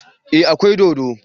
Eh akwai dodo